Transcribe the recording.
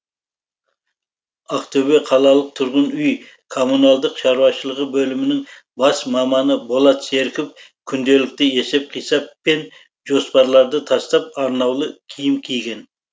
ақтөбе қалалық тұрғын үй коммуналдық шаруашылығы бөлімінің бас маманы болат серіков күнделікті есеп қисап пен жоспарларды тастап арнаулы киім киген